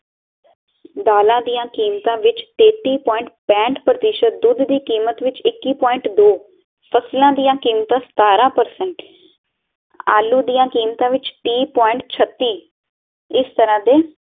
ਦਾਲਾਂ ਦੀਆ ਕੀਮਤਾਂ ਵਿੱਚ ਤੇਤੀ ਪੁਆਇੰਟ ਪੇਹਟ ਪ੍ਰਤੀਸ਼ਤ ਦੁੱਧ ਦੀ ਕੀਮਤ ਵਿੱਚ ਇਕੀ ਪੁਆਇੰਟ ਦੋ ਫਸਲਾਂ ਦੀਆਂ ਕੀਮਤਾਂ ਸਤਾਰਾਂ ਪਰਸੇੰਟ ਆਲੂ ਦੀਆ ਕੀਮਤਾਂ ਵਿੱਚ ਤੀਹ ਪੁਆਇੰਟ ਛਤੀ ਇਸ ਤਰਾਂ ਦੇ